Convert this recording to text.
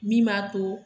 Min b'a to